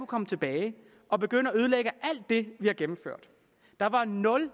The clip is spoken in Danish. komme tilbage og begynde at ødelægge alt det vi har gennemført der var nul